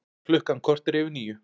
Klukkan korter yfir níu